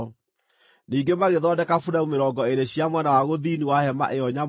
Ningĩ magĩthondeka buremu mĩrongo ĩĩrĩ cia mwena wa gũthini wa hema ĩyo nyamũre,